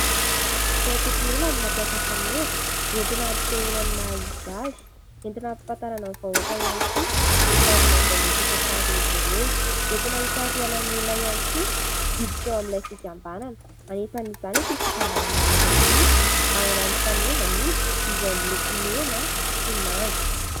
Antokon'olona no mampiasa faneva entina ampisehoany maha izy azy, entina ampahafantarana amin'ny vahoaka ihany koa ny tanjona izay mety hotratrarin' izy ireo, entina hisarihana ny olona ihany koa hiditra ao amin'ilay fikambanana, anisan'izany ity fikambanana iray ity, manana ny fanevany izy, izay miloko mena sy manga.